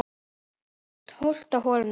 Tólfta holan í dag